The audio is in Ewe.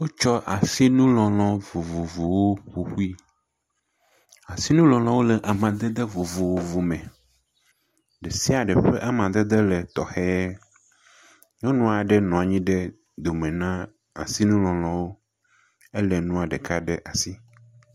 Wotsɔ asinulɔlɔ vovovowo ƒo ƒui, asinulɔlɔ le amadede vovovo me, ɖe sia ɖe ƒe amadede le tɔxɛ. Nyɔnu aɖe nɔ anyi ɖe dome na asinulɔlɔwo, elé nuɔ ɖeka ɖe asi.